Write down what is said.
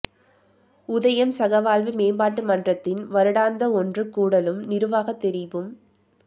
உதயம் சகவாழ்வு மேம்பாட்டு மன்றத்தின் வருடாந்த ஒன்று கூடலும் நிருவாக தெரிவும்